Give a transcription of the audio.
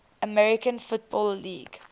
american football league